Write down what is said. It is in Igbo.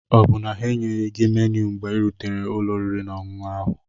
Ọ bụ na ha enyeghị gị menu mgbe ị rutere ụlọ oriri na ọṅụṅụ ahụ?